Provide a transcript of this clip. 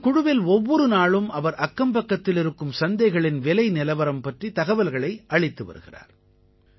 இந்தக் குழுவில் ஒவ்வொரு நாளும் அவர் அக்கம்பக்கத்தில் இருக்கும் சந்தைகளின் விலை நிலவரம் பற்றிய தகவல்களை அளித்து வருகிறார்